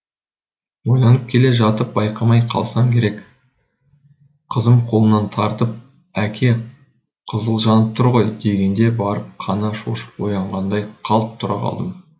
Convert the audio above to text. ойланып келе жатып байқамай қалсам керек қызым қолымнан тартып әке қызыл жанып тұр ғой дегенде барып қана шошып оянғандай қалт тұра қалдым